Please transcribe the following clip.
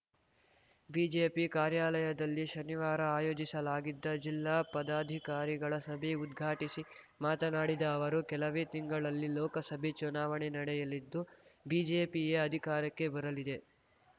BJP ಕಾರ್ಯಾಲಯದಲ್ಲಿ ಶನಿವಾರ ಆಯೋಜಿಸಲಾಗಿದ್ದ ಜಿಲ್ಲಾ ಪದಾಧಿಕಾರಿಗಳ ಸಭೆ ಉದ್ಘಾಟಿಸಿ ಮಾತನಾಡಿದ ಅವರು ಕೆಲವೇ ತಿಂಗಳಲ್ಲಿ ಲೋಕಸಭೆ ಚುನಾವಣೆ ನಡೆಯಲಿದ್ದು ಬಿಜೆಪಿಯೇ ಅಧಿಕಾರಕ್ಕೆ ಬರಲಿದೆ